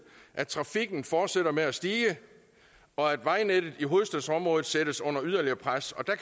at trafikken fortsætter med at stige og at vejnettet i hovedstadsområdet sættes under yderligere pres og der